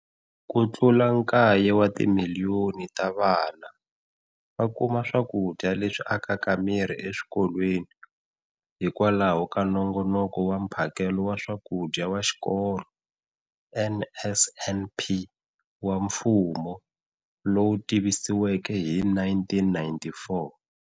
Kutlula kaye wa timiliyoni ta vana va kuma swakudya leswi akaka miri exikolweni hikwalaho ka Nongonoko wa Mphakelo wa Swakudya wa Xikolo, NSNP, wa mfumo, lowu tivisiweke hi 1994.